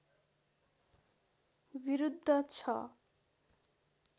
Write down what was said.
विरुद्ध छ